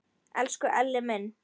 Elsku Elli minn!